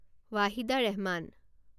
Wahida Rehman